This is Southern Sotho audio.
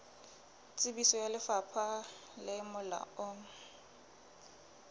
tsebiso ya lefapha le molaong